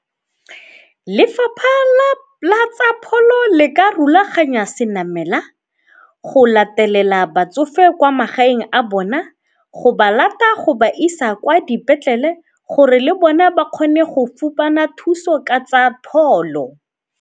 Lefapha la tsa pholo le ka rulaganya se namela go latelela batsofe kwa magaeng a bona, go ba lata go ba isa kwa dipetlele gore le bona ba kgone go fumana thuso ka tsa pholo.